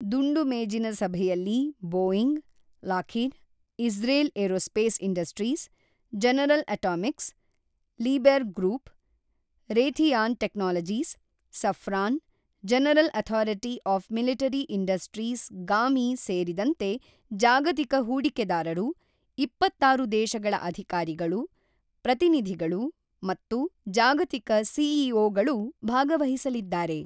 ದುಂಡುಮೇಜಿನ ಸಭೆಯಲ್ಲಿ Boeing, Lockheed, Israel Aerospace Industries, General Atomics, ಲೀಬೆರ್ Group, Raytheon Technologies, Safran, General Authority of Military Industries GAMI ಸೇರಿದಂತೆ ಜಾಗತಿಕ ಹೂಡಿಕೆದಾರರು, ಇಪ್ಪತ್ತಾರು ದೇಶಗಳ ಅಧಿಕಾರಿಗಳು, ಪ್ರತಿನಿಧಿಗಳು ಮತ್ತು ಜಾಗತಿಕ ಸಿಇಒಗಳು ಭಾಗವಹಿಸಲಿದ್ದಾರೆ.